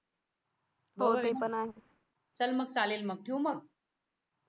चल मग चालेल मग ठेवू मग